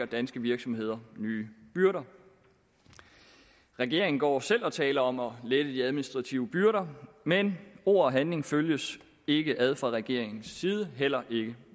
danske virksomheder nye byrder regeringen går selv og taler om at lette de administrative byrder men ord og handling følges ikke ad fra regeringens side heller ikke